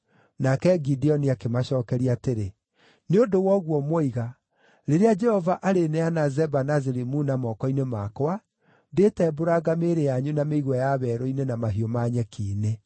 Nake Gideoni akĩmacookeria atĩrĩ, “Nĩ ũndũ wa ũguo mwoiga, rĩrĩa Jehova arĩneana Zeba na Zalimuna moko-inĩ makwa, ndĩĩtembũranga mĩĩrĩ yanyu na mĩigua ya werũ-inĩ na mahiũ ma nyeki-inĩ.”